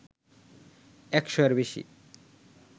১০০ এর বেশি